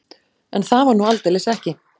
En það var nú aldeilis ekki.